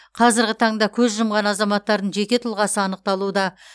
қазырғы таңда көз жұмған азаматтардың жеке тұлғасы анықталуда